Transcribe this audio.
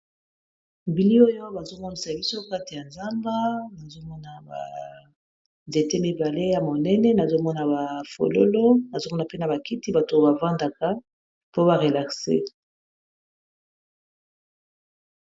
Bilili oyo bazolakisa biso na kati ya zamba, nazomona ba nzete mibale ya monene nazomona ba fololo nazomona pena ba kiti bato bavandaka po ba relaxé.